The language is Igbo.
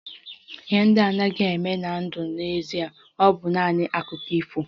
Ihe ndị a anaghị eme na ndụ n'ezie, ọ bụ naanị Akụkọ ifo